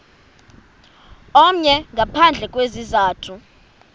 omnye ngaphandle kwesizathu